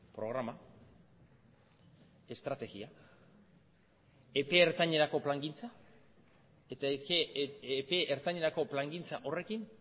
programa estrategia epe ertainerako plangintza eta epe ertainerako plangintza horrekin